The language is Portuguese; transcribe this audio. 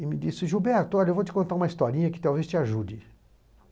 e me disse Gilberto, olha, eu vou te contar uma historinha que talvez te ajude.